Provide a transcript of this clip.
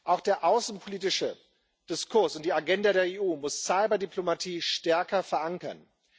Auch der außenpolitische Diskurs und die Agenda der EU muss Cyberdiplomatie stärker verankern.